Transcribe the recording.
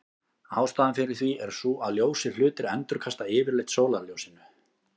Ástæðan fyrir því er sú að ljósir hlutir endurkasta yfirleitt sólarljósinu.